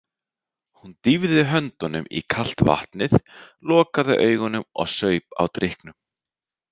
Hún dýfði höndunum í kalt vatnið, lokaði augunum og saup á drykknum.